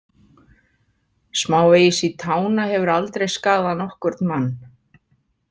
Smávegis í tána hefur aldrei skaðað nokkurn mann.